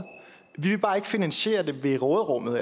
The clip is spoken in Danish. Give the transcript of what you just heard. vi vil bare ikke finansiere det ved råderummet